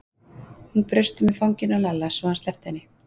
Hún braust um í fanginu á Lalla, svo að hann sleppti henni.